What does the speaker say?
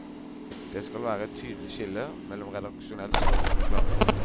Det skal være et tydelig skille mellom redaksjonelt stoff og reklame.